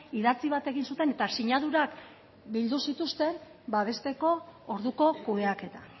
idatzi bat egin zuten eta sinadurak bildu zituzten babesteko orduko kudeaketa